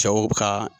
Cɛw ka